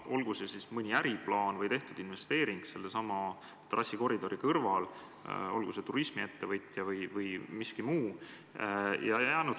Olgu see mõni äriplaan või sellesama trassikoridori kõrval asuvasse maasse tehtud investeering, olgu see turismiettevõtja või keegi muu.